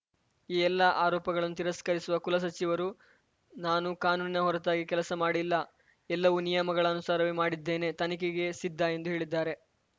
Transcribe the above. ಈ ಎಲ್ಲಾ ಆರೋಪಗಳನ್ನು ತಿರಸ್ಕರಿಸಿರುವ ಕುಲಸಚಿವರು ನಾನು ಕಾನೂನಿನ ಹೊರತಾಗಿ ಕೆಲಸ ಮಾಡಿಲ್ಲ ಎಲ್ಲವೂ ನಿಯಮಗಳ ಅನುಸಾರವೇ ಮಾಡಿದ್ದೇನೆ ತನಿಖೆಗೆ ಸಿದ್ಧ ಎಂದು ಹೇಳಿದ್ದಾರೆ